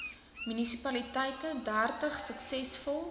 munisipaliteite dertig suksesvol